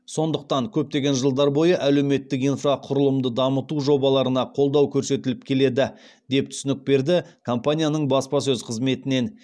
сондықтан көптеген жылдар бойы әлеуметтік инфрақұрылымды дамыту жобаларына қолдау көрсетіліп келеді деп түсінік берді компанияның баспасөз қызметінен